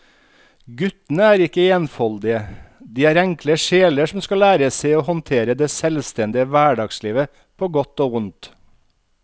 Guttene er ikke enfoldige, de er enkle sjeler som skal lære seg å håndtere det selvstendige hverdagslivet på godt og vondt.